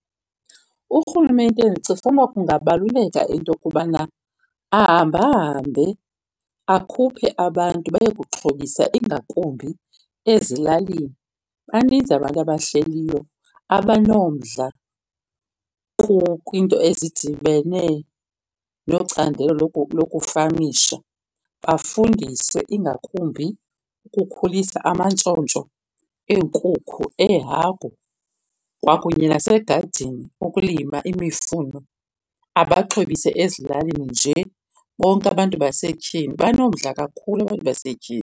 Urhulumente ndicinga fanuba kungabaluleka into yokubana ahamba hambe akhuphe abantu bayokuxhobisa ingakumbi ezilalini. Baninzi abantu abahleliyo abanomdla kwiinto ezidibene nocandelo lokufamisha. Bafundiswe ingakumbi ukukhulisa amantshontsho eenkukhu, ehagu, kwakunye nasegadini ukulima imifuno. Abaxhobise ezilalini nje bonke abantu basetyhini. Banomdla kakhulu abantu basetyhini.